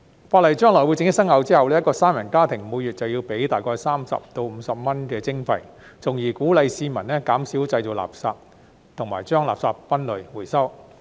法例將來正式生效後，一個三人家庭每月便要繳付大概30元至50元的徵費，從而鼓勵市民減少製造垃圾，以及將垃圾分類和回收。